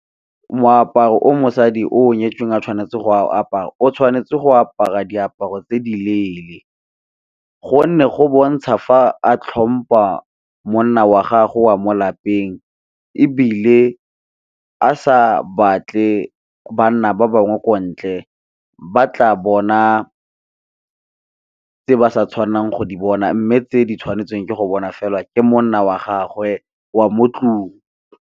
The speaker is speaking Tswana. Moaparo o mosadi o nyetsweng a tshwanetse go apara o tshwanetse go apara diaparo tse di leele, gonne go bontsha fa a tlhompa monna wa gago o a mo lapeng, ebile a sa batle banna ba bangwe kwa ntle ba tla bona tse ba sa tshwanelang go di bona, mme tse di tshwanetseng ke go bona fela ke monna wa gagwe wa mo 'tlong.